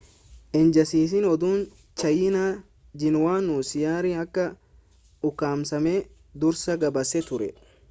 ejansiin oduu chaayinaa jiinuwaan xiyyaarri akka ukkaamsame dursa gabaasee ture